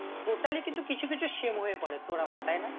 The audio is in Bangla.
Totally কিন্তু কিছু কিছু same হয়ে পরে তোর আমার তাই না